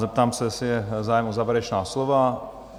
Zeptám se, jestli je zájem o závěrečná slova?